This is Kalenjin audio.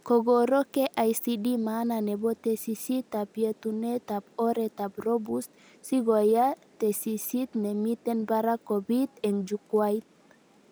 Kokoro KICD maana nebo tesisyitab yetunetab oretab robust sikoya tesisyit nemiten barak kopit eng jukwait